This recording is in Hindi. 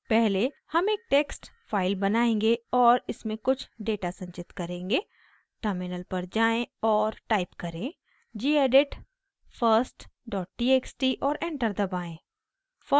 पहले हम एक टेक्स्ट फाइल बनाएंगे और इसमें कुछ डेटा संचित करेंगे टर्मिनल पर जाएँ और टाइप करें: gedit firsttxt और एंटर दबाएं